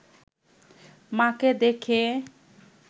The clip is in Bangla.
মা’কে দেখে